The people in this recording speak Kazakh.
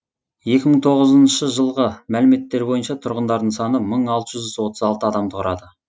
екі мың тоғызыншы жылғы мәліметтер бойынша тұрғындарының саны мың алты жүз отыз алты адамды құрады